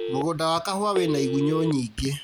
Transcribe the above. Mũgũnda wa kahũa wĩna igunyũ nyingĩ